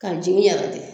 Ka jigin yɛrɛ de